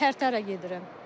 Tərtərə gedirəm.